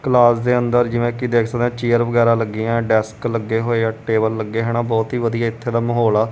Class ਦੇ ਅੰਦਰ ਜਿਵੇਂ ਕੀ ਦੇਖ ਸਕਦੇ ਹਾਂ ਚੇਅਰ ਵਗੈਰਾ ਲੱਗੀਆਂ ਹੈਂ ਡੈਸਕ ਲੱਗੇ ਹੋਇਆ ਟੇਬਲ ਲੱਗੇ ਹਨ ਬਹੁਤ ਹੀ ਵਧੀਆ ਏੱਥੇ ਦਾ ਮਾਹੌਲ ਆ।